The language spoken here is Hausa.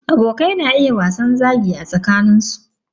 Abokai na iya wasan zagi a tsakanin su.